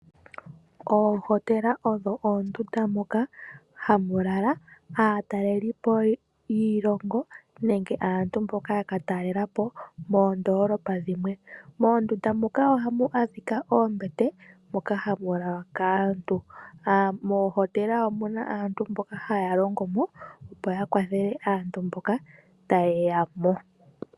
Oohotela odho ondunda dhoka hadhi lalwa kaatalelipo yiilongo nenge aantu ya ka talelapo koondolopa dhimwe. Mondunda dhoka ohamu adhika oombete dhoka hadhi lalwa kaatalelipo nohamu longo aantu mboka ha ya kwathele aatalelipo una ye yamo.